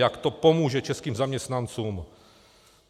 Jak to pomůže českým zaměstnancům!